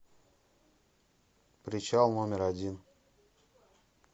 причал номер один